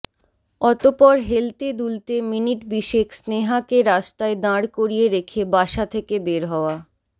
অতপর হেলতে দুলতে মিনিট বিশেক স্নেহা কে রাস্তায় দাড় করিয়ে রেখে বাসা থেকে বের হওয়া